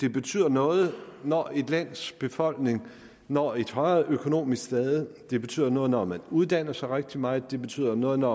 det betyder noget når et lands befolkning når et højere økonomisk stade det betyder noget når man uddanner sig rigtig meget det betyder noget når